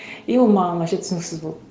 и ол маған вообще түсініксіз болды